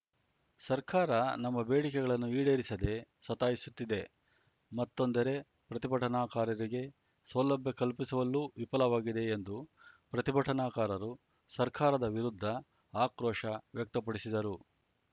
ಸರ್ಕಾರ ನಮ್ಮ ಬೇಡಿಕೆಗಳನ್ನು ಈಡೇರಿಸದೆ ಸತಾಯಿಸುತ್ತಿದೆ ಮತ್ತೊಂದೆರೆ ಪ್ರತಿಭಟನಾಕಾರರಿಗೆ ಸೌಲಭ್ಯ ಕಲ್ಪಿಸುವಲ್ಲೂ ವಿಫಲವಾಗಿದೆ ಎಂದು ಪ್ರತಿಭಟನಾಕಾರರು ಸರ್ಕಾರದ ವಿರುದ್ಧ ಆಕ್ರೋಶ ವ್ಯಕ್ತಪಡಿಸಿದರು